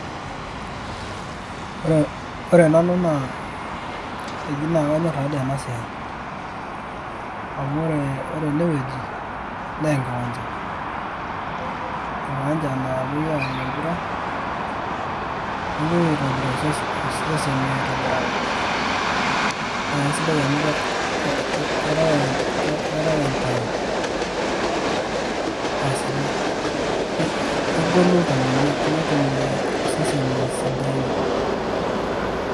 ore nanu naa, eji naa kanyor taadiii ena siai, amu ore ene wueji naa, enkiwancha, enkiwancha, napuoi aarie empira, nepuoi aaitobir iseseni aitobiraki, naa kisidai amu kereu e time ,negolu iltunganak, netum iseseni sidain.